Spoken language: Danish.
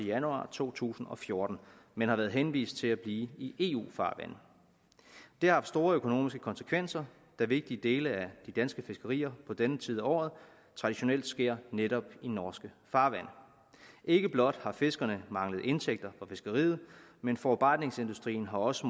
januar to tusind og fjorten men har været henvist til at blive i eu farvande det har haft store økonomiske konsekvenser da vigtige dele af de danske fiskerier på denne tid af året traditionelt sker netop i norske farvande ikke blot har fiskerne manglet indtægter fra fiskeriet men forarbejdningsindustrien har også